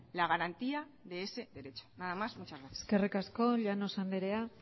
la garantía de ese derecho nada más y muchas gracias eskerrik asko llanos andrea